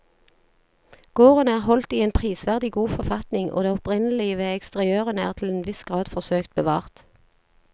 Gården er holdt i en prisverdig god forfatning og det opprinnelige ved eksteriørene er til en viss grad forsøkt bevart.